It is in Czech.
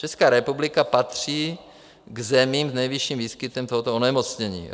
Česká republika patří k zemím s nejvyšším výskytem tohoto onemocnění.